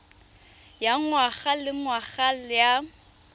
ya ngwaga le ngwaga ya